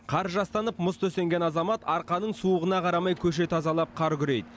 қар жастанып мұз төсенген азамат арқаның суығына қарамай көше тазалап қар күрейді